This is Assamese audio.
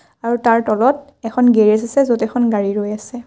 আৰু তাৰ তলত এখন গেৰেজ আছে য'ত এখন গাড়ী ৰৈ আছে।